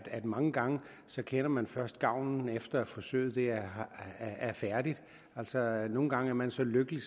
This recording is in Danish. at mange gange kender man først gavnen efter at forsøget er færdigt altså nogle gange er man så lykkelig